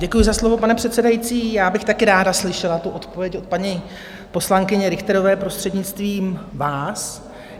Děkuji za slovo, pane předsedající, já bych taky ráda slyšela tu odpověď od paní poslankyně Richterové, prostřednictvím vás.